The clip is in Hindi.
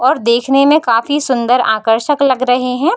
और देखने में काफी सुंदर आकर्षक लग रहें हैं।